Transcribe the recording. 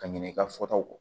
Ka ɲinɛ i ka fɔtaw kɔ